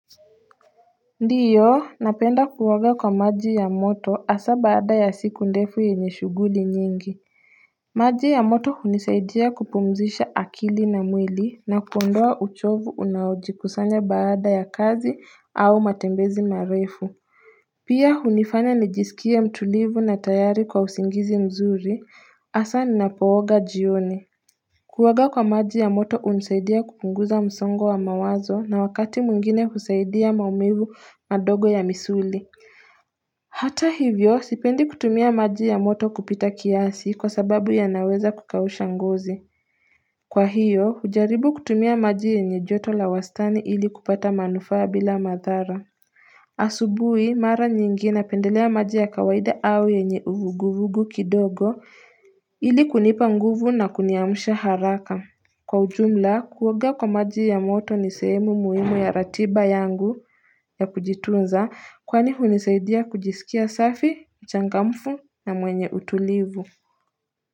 Ndiyo napenda kuoga kwa maji ya moto hasa baada ya siku ndefu yenye shughuli nyingi maji ya moto hunisaidia kupumzisha akili na mwili na kuondoa uchovu unaojikusanya baada ya kazi au matembezi marefu pia hunifanya nijisikie mtulivu na tayari kwa usingizi mzuri hasa ninapo oga jioni Kuoga kwa maji ya moto hunusaidia kupunguza msongo wa mawazo na wakati mwingine husaidia maumivu madogo ya misuli Hata hivyo sipendi kutumia maji ya moto kupita kiasi kwa sababu yanaweza kukausha ngozi Kwa hiyo hujaribu kutumia maji yenye joto la wastani ili kupata manufaa bila madhara asubuhi mara nyingi napendelea maji ya kawaida au yenye uvuguvugu kidogo ili kunipa nguvu na kuniamsha haraka Kwa ujumla kuoga kwa maji ya moto ni sehemu muhimu ya ratiba yangu ya kujitunza kwani hunisaidia kujisikia safi, mchangamfu na mwenye utulivu.